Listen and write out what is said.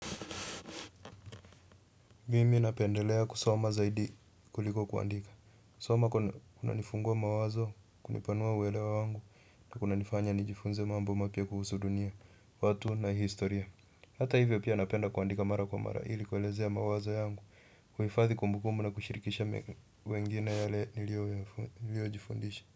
Mimi napendelea kusoma zaidi kuliko kuandika kusoma kunanifungua mawazo, kunipanua uelewa wangu, na kunanifanya nijifunze mambo mapya kuhusu dunia, watu na historia. Hata hivyo pia napenda kuandika mara kwa mara, ili kuelezea mawazo yangu, kuhifadhi kumbukumbu na kushirikisha wengine yale niliojifundisha.